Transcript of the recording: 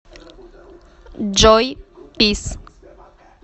джой пис